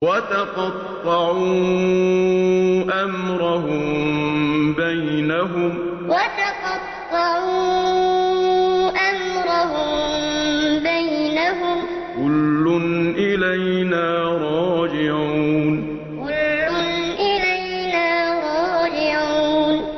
وَتَقَطَّعُوا أَمْرَهُم بَيْنَهُمْ ۖ كُلٌّ إِلَيْنَا رَاجِعُونَ وَتَقَطَّعُوا أَمْرَهُم بَيْنَهُمْ ۖ كُلٌّ إِلَيْنَا رَاجِعُونَ